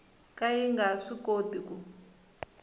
ka yi nga swikoti ku